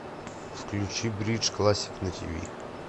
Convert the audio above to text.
включи бридж классик на тв